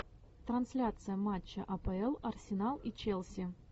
трансляция матча апл арсенал и челси